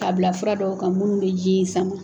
K'a bila fura dɔw ka minnu bɛ ji in saman.